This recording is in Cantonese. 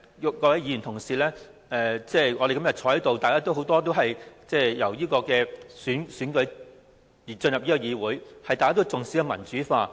今天在席的議員當中，很多議員是經過直接選舉進入議會，都重視民主化。